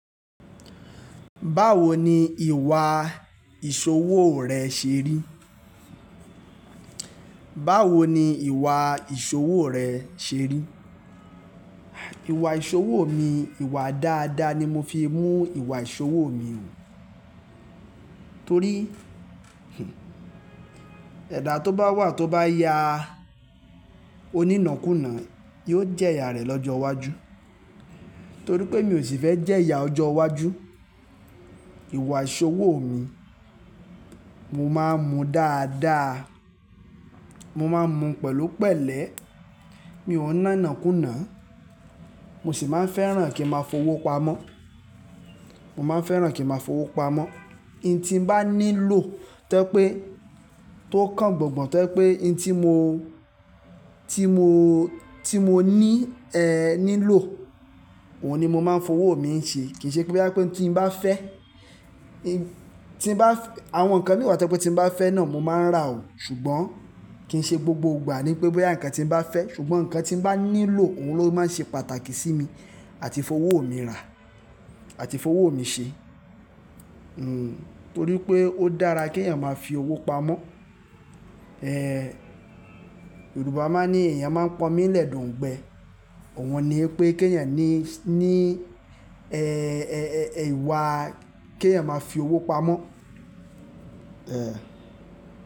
Báwo ni ìwà ìṣòwò rẹ ṣe rí? Báwo ni ìwà ìṣòwò rẹ ṣerí? Ìwà ìṣòwò mi, ìwà dáadáa ni mo fi ń mú ìwà ìṣòwò mi o. Torí́, ẹ̀dà tó bá wà tó bá ya onínàkúnà yóò jẹ́ ìyá rẹ̀ lọ́jọ́ iwájú. Torí pé mi ò sì fẹ́ jẹ́ ìyá ọjọ́ iwájú, ìwà ìṣòwò mi, mo máa ń mu dáadáa. Mo máa ń mu pẹ̀lú pẹ̀lẹ́, mi ò ń ná'nàkúnà. Mo sì máa ń fẹ́ràn kí mo máa fowó pamọ́. Mo máa n fẹ́ràn kí n máa fowó pamọ́. Ohun tí mo bá nílò tó jẹ́ pé, tó kàn gbọ̀gàn tójẹ́ pé, ohuj tí mo, tí mo, tí mo ní, è, nílò, òun ni mo máa ń fowó mi ń ṣe. Kì í ṣe pé bóyá pé ohun tí n bá fẹ́, tí n bá, àwọn nǹkan mií wà tojẹ́ pé tí n bá fẹ́ náà mo máa ń rà o. Ṣùgbọ́n kì í ṣe gbogbo ìgbà ní pé bóyá nǹkan tí n bá fẹ́, ṣùgbọ́n nǹkan tí n bá nílò òun ló máa ń ṣe pàtàkì sí mi àti fowó mi rà àti fowó mi ṣe. Hmm, torí pé ó dára kí èyàn máa fi owó pamọ́. Ẹ̀, Yorùbá máa ní èèyàn máa ń pọ́n omí lẹ̀ de òńgbẹ. Ọ̀un ni pé kí èyàn ní, ní, è, è, è ìwà kí èyàn máa fi owó pamọ́. Ẹ̀